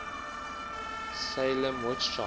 salem witch trials